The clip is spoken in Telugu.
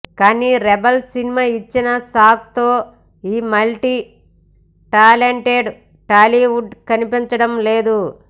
కానీ రెబల్ సినిమా ఇచ్చిన షాక్ తో ఈ మల్టీటాలెంటెడ్ టాలీవుడ్ కనిపించడం లేదు